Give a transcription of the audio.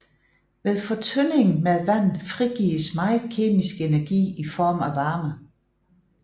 Ved fortynding med vand frigives meget kemisk energi i form af varme